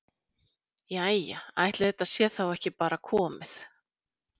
Jæja ætli þetta sé þá ekki bara komið.